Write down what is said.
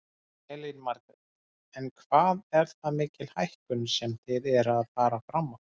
Elín Margrét: En hvað er það mikil hækkun sem þið eruð að fara fram á?